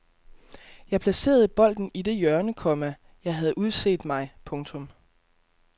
Jeg placerede bolden i det hjørne, komma jeg havde udset mig. punktum